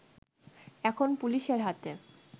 এখন পুলিশের হাতে